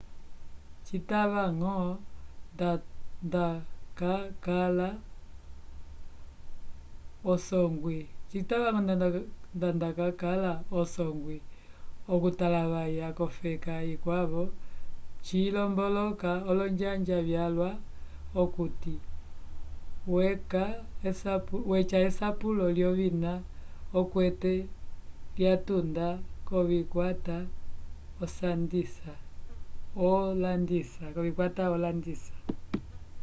citava-ñgo ndacakala usongwi okutalavaya k'ofeka ikwavo cilomboloka olonjanja vyalwa okuti weca esapulo lyovina okwete lyatunda k'ovikwata olandisa